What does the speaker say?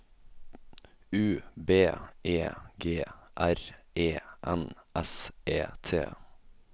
U B E G R E N S E T